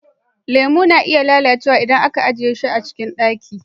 Lemo na iya lalacewa idan aka ajiye shi a cikin ɗaki.